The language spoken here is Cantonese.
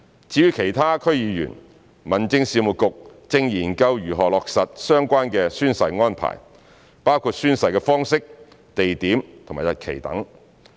至於其他區議員，民政事務局正研究如何落實相關的宣誓安排，包括宣誓的方式、地點、日期等。